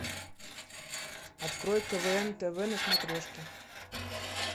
открой квн тв на смотрешке